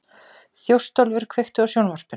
Þjóstólfur, kveiktu á sjónvarpinu.